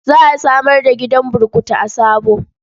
Za a samar da gidan burkutu a Sabo.